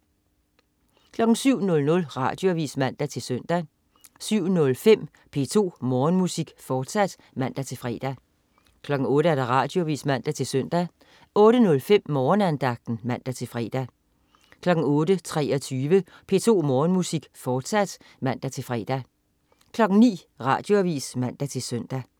07.00 Radioavis (man-søn) 07.05 P2 Morgenmusik, fortsat (man-fre) 08.00 Radioavis (man-søn) 08.05 Morgenandagten (man-fre) 08.23 P2 Morgenmusik, fortsat (man-fre) 09.00 Radioavis (man-søn)